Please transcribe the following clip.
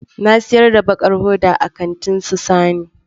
Na siyar da baƙar hoda a kantin su Sani